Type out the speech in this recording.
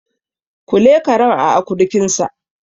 Kule karen a akurkinsa